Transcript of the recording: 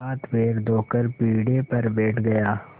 हाथपैर धोकर पीढ़े पर बैठ गया